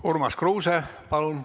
Urmas Kruuse, palun!